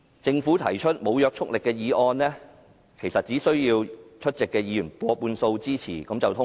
政府提出無約束力議案，其實只需要出席議員過半數支持便可通過。